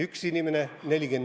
1 inimene vs.